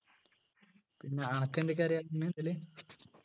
പിന്നെ അനക്ക് എന്തൊക്കെ അറിയാ ഇതില്